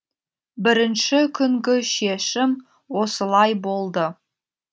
бірінші күнгі шешім осылай болды